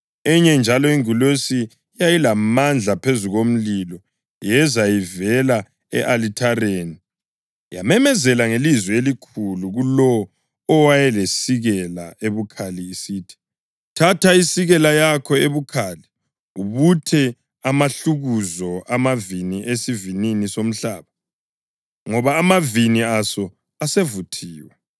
Enye njalo ingilosi eyayilamandla phezu komlilo yeza ivela e-alithareni yamemezela ngelizwi elikhulu kulowo owayelesikela ebukhali isithi, “Thatha isikela yakho ebukhali ubuthe amahlukuzo amavini esivinini somhlaba, ngoba amavini aso asevuthiwe.”